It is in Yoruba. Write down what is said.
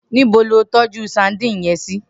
Nibo ló tòjú sàdín yèn si?